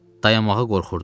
dayanmağa qorxurdum.